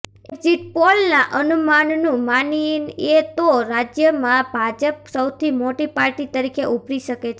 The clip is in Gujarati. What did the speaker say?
એક્ઝિટ પોલના અનુમાનનું માનીએ તો રાજ્યમાં ભાજપ સૌથી મોટી પાર્ટી તરીકે ઉભરી શકે છે